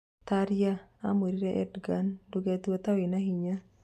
Taria amwĩrire Endogan: " Ndũgetue ta wĩna hinya.